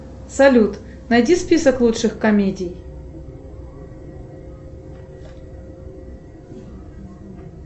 салют найди список лучших комедий